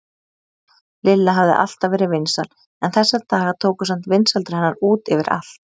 Lilla hafði alltaf verið vinsæl en þessa daga tóku samt vinsældir hennar út yfir allt.